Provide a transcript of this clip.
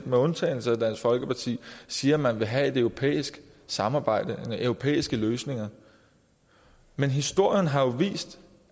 med undtagelse af dansk folkeparti siger at man vil have et europæisk samarbejde europæiske løsninger men historien har vist